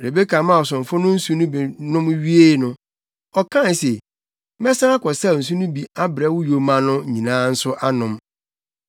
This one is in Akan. Rebeka maa ɔsomfo no nsu no bi nom wiee no, ɔkae se, “Mɛsan akɔsaw nsu no bi abrɛ wo yoma no nyinaa nso anom.”